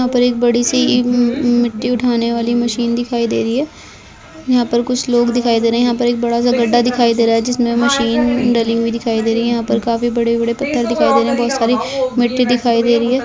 यहाँ पर एक बड़ी सी मि मिट्टी उठाने वाले मशीन दिखाई दे रही हैं यहाँ पर कुछ लोग दिखाई दे रहे हैं यहाँ पर एक बड़ा सा गड्डा दिखाई दे रहा है जिसमे मशीन डली हुई दिखाई दे रही है यहाँ पर काफी बड़े बड़े पत्थर दिखाई दे रहे हैं बहुत सारी मिट्टी दिखाई दे रही है।